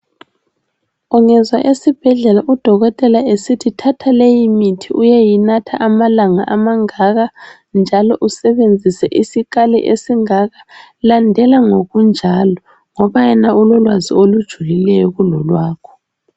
Ungezwa esibhedlela udokotela ehlala esithi thatha leyi mithi uyeyinatha amalanga angaka njalo usebenzise isikhali esingaka landela ngokunjalo ngoba yena ulolwazi olujulileyo kulolwalwakho.